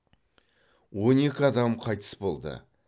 он екі адам қайтыс болды